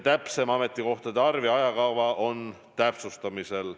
Täpsem ametikohtade arv ja ajakava on täpsustamisel.